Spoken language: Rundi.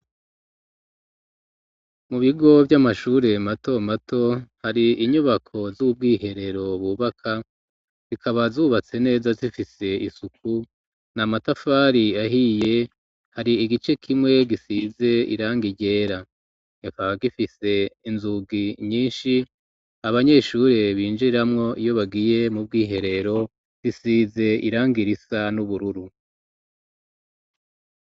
Mu bigo vy'amashure mato mato hari inyubako z'ubwiherero bubaka bikaba zubatse neza zifise isuku n'amatafari ahiye hari igice kimwe gisize irangi ryera kikaba gifise inzugi nyishi abanyeshure binjiramwo iyo bagiye mu bw'iherero zisize irangi risa n'ubururu